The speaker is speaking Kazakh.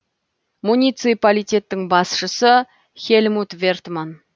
муниципалитеттің басшысы хельмут вертман